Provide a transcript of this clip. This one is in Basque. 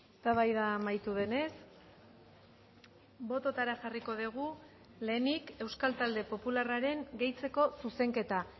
eztabaida amaitu denez bototara jarriko dugu lehenik euskal talde popularraren gehitzeko zuzenketa